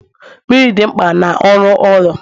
Mmiri dị mkpa na ọrụ ụlọ